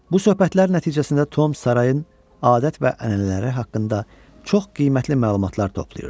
Bu söhbətlər nəticəsində Tom sarayın adət və ənənələri haqqında çox qiymətli məlumatlar toplayırdı.